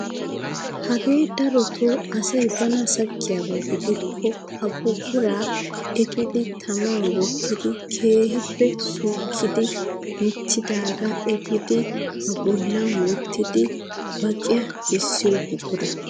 Hagee darotoo asay bana sakkiyaaba gidikko ha buquraa eppidi taman wottidi keehippe suukkidi michchidagaa epiidi ba boollan wottidi baqiyaa kessiyoo buquraa.